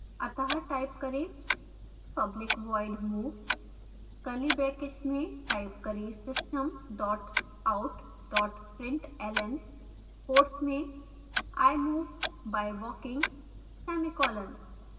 अत: type करें public void move curly brackets में type करें system out println quotes में i move by walking semicolon